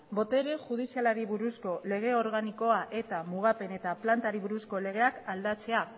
botere judizialari buruzko lege organikoa eta mugapen eta plantari buruzko legeak aldatzea